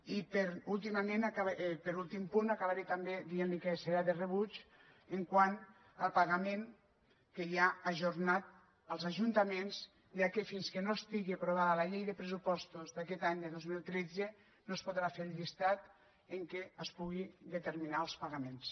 i per últim punt acabaré també dient li que serà de rebuig quant al pagament que hi ha ajornat als ajuntaments ja que fins que no estigui aprovada la llei de pressupostos d’aquest any de dos mil tretze no es podrà fer el llistat en què es puguin determinar els pagaments